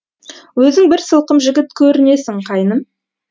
өзің бір сылқым жігіт көрінесің қайным